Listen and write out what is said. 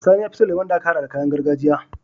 Sani yafi son lemon da aka hada da kayan gargajiya